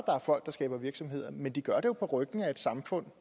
er folk der skaber virksomheder men de gør det på ryggen af et samfund